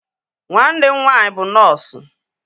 Nwanne m nwaanyị bụ nọọsu